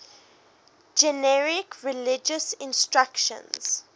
generic religious instruction